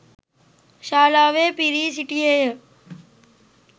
ශාලාවේ පිරී සිටියේ ය.